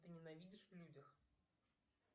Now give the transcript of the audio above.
ты ненавидишь в людях